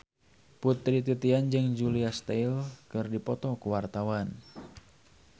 Putri Titian jeung Julia Stiles keur dipoto ku wartawan